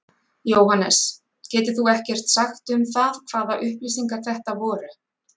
Jóhannes: Getur þú ekkert sagt um það hvaða upplýsingar þetta voru?